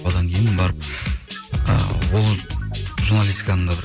одан кейін барып ы ол журналистиканың да бір